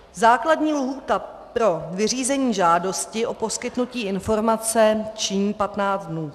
Základní lhůta pro vyřízení žádosti o poskytnutí informace činí 15 dnů.